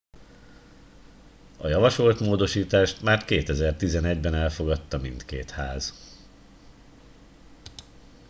a javasolt módosítást már 2011 ben elfogadta mindkét ház